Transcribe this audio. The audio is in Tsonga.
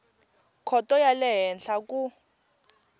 khoto ya le henhla ku